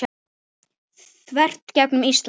þvert gegnum Ísland.